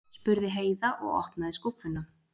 spurði Heiða og opnaði skúffuna.